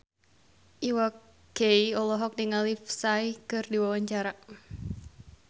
Iwa K olohok ningali Psy keur diwawancara